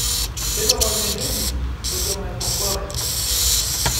Tipika olchani oji sodium hypochlorite